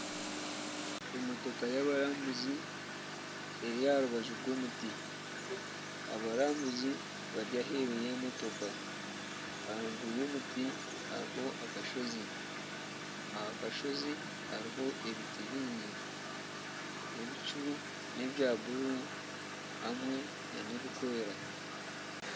Emotoka yabarambuzi eri aha rubaju rw'omuti abarambuzi bari aheeru y'emotoka aharuguru y'omuti hariho akasozi aha kasozi hariho ebiti bingi ebicu nebya bururu hamwe n'ebirikwera.